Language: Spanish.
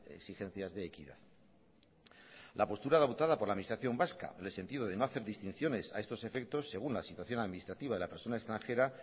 exigencias de equidad la postura adoptada por la administración vasca en el sentido de no hacer distinciones a estos efectos según la situación administrativa de la persona extranjera